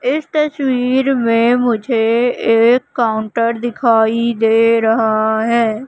इस तस्वीर में मुझे एक काउंटर दिखाई दे रहा है।